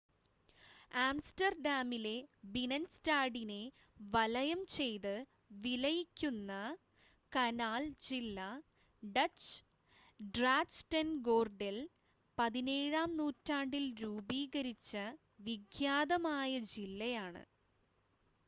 ആംസ്റ്റർഡാമിലെ ബിനൻസ്റ്റാഡിനെ വലയം ചെയ്ത് വിലയിക്കുന്ന കനാൽ ജില്ല ഡച്ച്:ഗ്രാച്ടെൻഗോർഡൽ 17-ാം നൂറ്റാണ്ടിൽ രൂപീകരിച്ച വിഖ്യാതമായ ജില്ലയാണ്